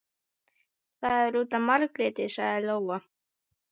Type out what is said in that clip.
Það er út af Margréti, sagði Lóa.